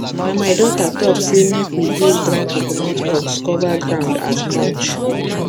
na my daughter talk say make we use dry coconut husk cover ground as mulch